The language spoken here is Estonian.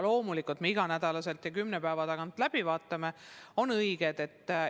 Loomulikult me iga nädal ja kümne päeva tagant vaatame otsuseid üle.